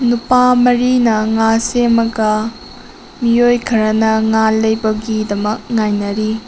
ꯅꯨꯄꯥ ꯃꯔꯤꯅ ꯉꯥ ꯁꯦꯝꯃꯒ ꯃꯤꯑꯣꯏ ꯈꯔꯅ ꯉꯥ ꯂꯩꯕꯒꯤꯗꯃꯛ ꯉꯥꯏꯅꯔꯤ꯫